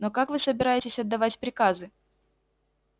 но как вы собираетесь отдавать приказы